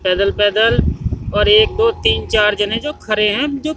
पैदल पैदल और एक दो तीन चार जने जो खरे है जो--